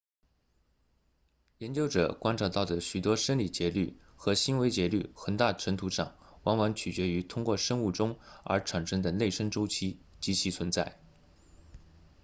研究者观察到的许多生理节律和行为节律很大程度上往往取决于通过生物钟而产生的内生周期及其存在